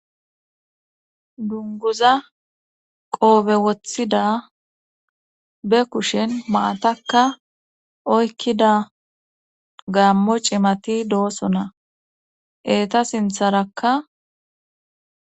dunguza qoobe wothida be kushen maatakka oykkida gaammo cimati doosona eeta sintharakka